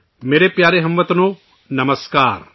میرے پیارے ہم وطنوں، نمسکار